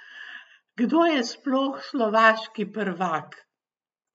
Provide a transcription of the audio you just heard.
Kdo je sploh slovaški prvak?